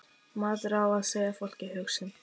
Maður á að segja fólki hug sinn.